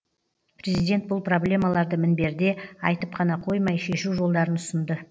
президент бұл проблемаларды мінберде айтып қана қоймай шешу жолдарын ұсынды